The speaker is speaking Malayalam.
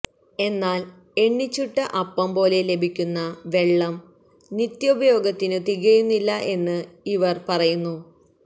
എന്നാല് എണ്ണിച്ചുട്ട അപ്പം പോലെ ലഭിക്കുന്ന വെള്ളം നിത്യോപയോഗത്തിനു തികയുന്നില്ല എന്ന് ഇവര് പറയുന്നു